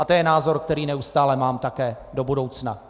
A to je názor, který neustále mám také do budoucna.